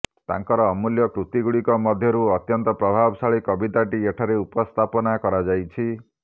ତାଙ୍କର ଅମୂଲ୍ୟ କୃତିଗୁଡ଼ିକ ମଧ୍ୟରୁ ଅତ୍ୟନ୍ତ ପ୍ରଭାବଶାଳୀ କବିତାଟି ଏଠାରେ ଉପସ୍ଥାପନା କରାଯାଇଛି